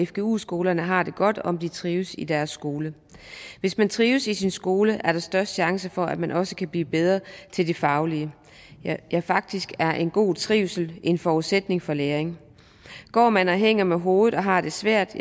fgu skolerne har det godt om de trives i deres skole hvis man trives i sin skole er der størst chance for at man også kan blive bedre til det faglige ja faktisk er en god trivsel en forudsætning for læring går man og hænger med hovedet og har det svært